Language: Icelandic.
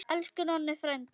Elsku Nonni frændi.